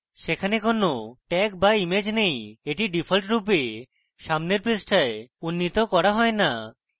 সেখানে কোন tags বা ইমেজ নেই এটি ডিফল্টরূপে সামনের পৃষ্ঠায় উন্নীত করা হয় no